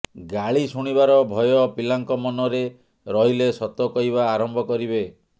ଗାଳି ଶୁଣିବାର ଭୟ ପିଲାଙ୍କ ମନରେ ରହିଲେ ସତ କହିବା ଆରମ୍ଭ କରିବେ